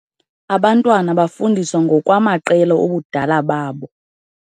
Abantwana bafundiswa ngokwamaqela obudala babo.